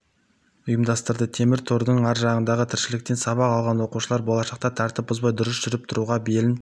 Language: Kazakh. ұйымдастырды темір тордың ар жағындағы тіршіліктен сабақ алған оқушылар болашақта тәртіп бұзбай дұрыс жүріп-тұруға белін